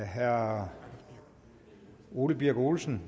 herre ole birk olesen